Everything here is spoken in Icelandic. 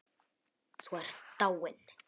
Þú ert dáinn.